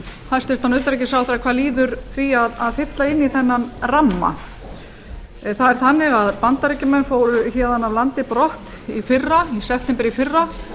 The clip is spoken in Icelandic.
hæstvirtan utanríkisráðherra hvað líður því að fylla inn í hennar ramma það er þannig að bandaríkjamenn fóru héðan af landi brott í september í fyrra